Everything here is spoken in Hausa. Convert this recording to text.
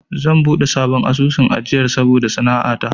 Zan buɗe sabon asusun ajiyar saboda sana'a ta.